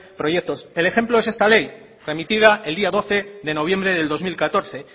proyectos el ejemplo es esta ley remitida el día doce de noviembre del dos mil catorce